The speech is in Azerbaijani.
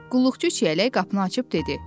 Qulluqçu çiyələk qapını açıb dedi: